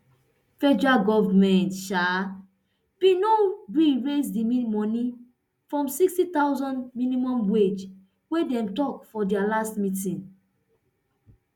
federal goment um bin no gree raise di moni from nsixty thousand minimum wage wey dem tok for dia last meeting